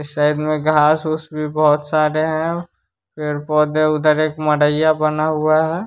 इस साइड में घास उस भी बहुत सारे हैं पौधे उधर एक मडैया बना हुआ है --